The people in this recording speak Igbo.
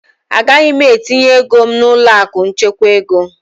Agaghị m etinye ego m n'ụlọ akụ nchekwa ego.